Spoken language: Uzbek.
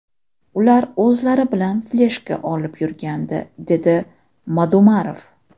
Ular o‘zlari bilan fleshka olib yurgandi”, dedi Madumarov.